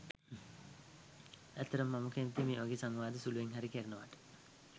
ඇත්තටම මම කැමතියි මේ වගේ සංවාද සුළුවෙන් හරි කෙරෙනවාට.